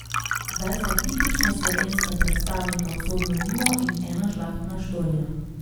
Zdaj sta tipična slovenska predstavnika Usodno vino in Ena žlahtna štorija.